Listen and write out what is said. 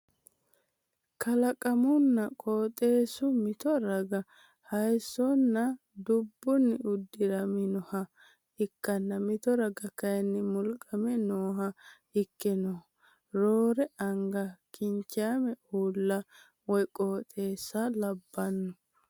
Kalaqunna qooxeessu mi raga haayissonna dubbunni uddiraminoha ikkanna mito raga kaayinni mulqame nooha ikke nooho. Roore anga kinchaame uulla woy qooxeessa labbanno.